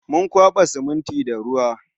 Mun kwaba siminti da ruwa